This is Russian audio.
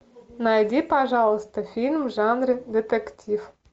найди пожалуйста фильм в жанре детектив